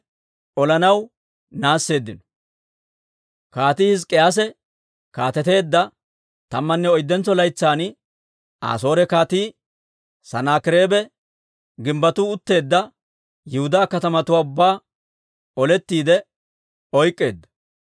Kaatii Hizk'k'iyaase kaateteedda tammanne oyddentso laytsan, Asoore Kaatii Sanaakireebe gimbbettu utteedda Yihudaa katamatuwaa ubbaa olettiide oyk'k'eedda.